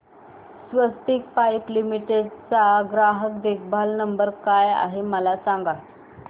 स्वस्तिक pipe limited चा ग्राहक देखभाल नंबर काय आहे मला सांगा